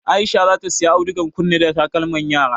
Aisha zata siya audugar kunne da takalman yara